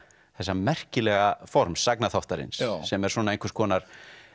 þessa merkilega forms sem er einhvers konar